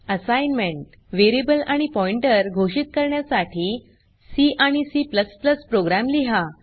assignment variable आणि pointer घोषित करण्यासाठी सी आणि C प्रोग्राम लिहा